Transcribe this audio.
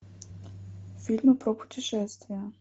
фильмы про путешествия